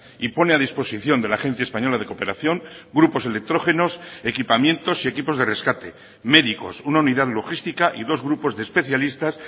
y pone a disposición de la agencia española de cooperación grupos electrógenos equipamientos y equipos de rescate médicos una unidad logística y dos grupos de especialistas